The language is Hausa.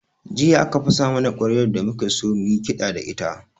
Jiya aka fasa mana ƙwaryar da muke so mu yi kiɗa da ita